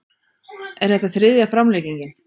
Er þetta þriðja framlengingin